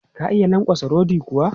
Ka iya lankwatsa rodi kuwa?